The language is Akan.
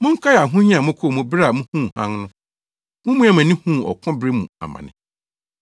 Monkae ahohia a mokɔɔ mu bere a muhuu hann no, mumiaa mo ani huu ɔko bebree mu amane.